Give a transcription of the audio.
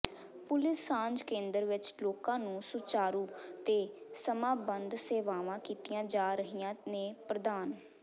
police ਸਾਂਝ ਕੇਂਦਰ ਵਿਚ ਲੋੋਕਾਂ ਨੂੰ ਸੁਚਾਰੂ ਤੇ ਸਮਾਂਬੱਧ ਸੇਵਾਵਾਂ ਕੀਤੀਆਂ ਜਾ ਰਹੀਆਂ ਨੇ ਪ੍ਰਦਾਨ